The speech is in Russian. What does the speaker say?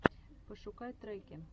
пошукай треки